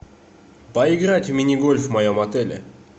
поиграть в мини гольф в моем отеле